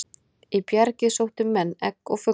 Í bjargið sóttu menn egg og fugla.